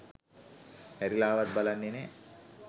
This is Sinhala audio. හැරිලාවත් බලන්නේ නෑ